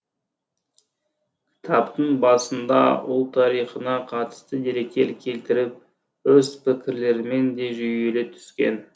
кітаптың басында ұлт тарихына қатысты деректер келтіріп өз пікірлерімен де жүйелей түскен